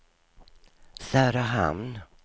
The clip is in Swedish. Söderhamn